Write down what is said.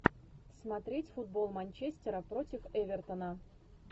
смотреть футбол манчестера против эвертона